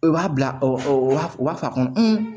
U b'a bila o b'a fɔ a kɔnɔ